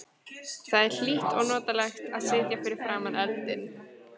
Það var hlýtt og notalegt að sitja fyrir framan eldinn.